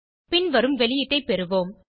பின் வரும் வெளியீடை பெறுவோம்